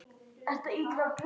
Élin þykja mörgum ljót.